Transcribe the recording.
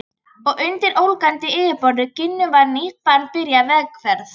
Og undir ólgandi yfirborði Gínu var nýtt barn byrjað vegferð.